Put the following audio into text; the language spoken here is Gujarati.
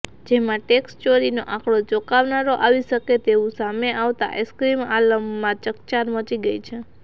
જેમાં ટેક્ષચોરીનો આંકડો ચોંકાવનારો આવી શકે તેવું સામે આવતાં આઇસક્રીમ આલમમાં ચકચાર મચી ગઇ છે